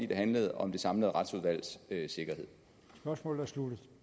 det handlede om det samlede retsudvalgs sikkerhed